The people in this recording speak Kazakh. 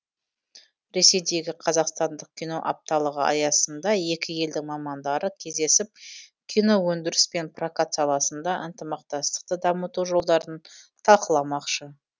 ресейдегі қазақстандық кино апталығы аясында екі елдің мамандары кездесіп киноөндіріс пен прокат саласында ынтымақтастықты дамыту жолдарын талқыламақшы